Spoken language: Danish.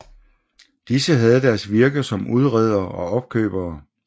Disse havde deres virke som udredere og opkøbere